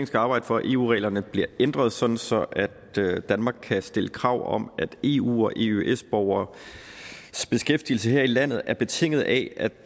skal arbejde for at eu reglerne bliver ændret sådan sådan at danmark kan stille krav om at eu og eøs borgeres beskæftigelse her i landet er betinget af